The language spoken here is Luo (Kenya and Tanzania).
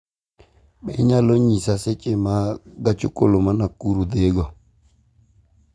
Be inyalo nyisa seche ma gach okoloma Nakuru dhigo